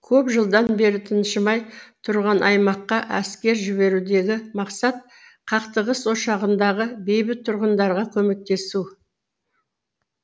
көп жылдан бері тыншымай тұрған аймаққа әскер жіберудегі мақсат қақтығыс ошағындағы бейбіт тұрғындарға көмектесу